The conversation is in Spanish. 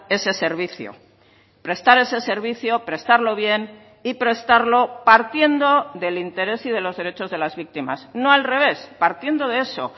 ese servicio prestar ese servicio prestarlo bien y prestarlo partiendo del interés y de los derechos de las víctimas no al revés partiendo de eso